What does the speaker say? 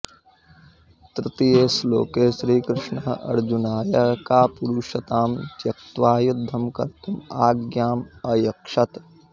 तृतीये श्लोके श्रीकृष्णः अर्जुनाय कापुरुषतां त्यक्त्वा युद्धं कर्तुम् आज्ञाम् अयच्छत्